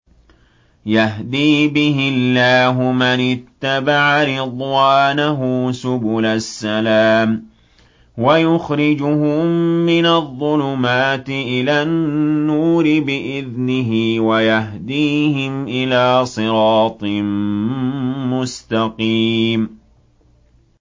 يَهْدِي بِهِ اللَّهُ مَنِ اتَّبَعَ رِضْوَانَهُ سُبُلَ السَّلَامِ وَيُخْرِجُهُم مِّنَ الظُّلُمَاتِ إِلَى النُّورِ بِإِذْنِهِ وَيَهْدِيهِمْ إِلَىٰ صِرَاطٍ مُّسْتَقِيمٍ